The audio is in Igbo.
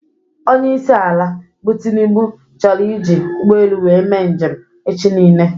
Onyeisi ala bụ Tinubu chọrọ iji ụgbọelu wee mee njem echi nile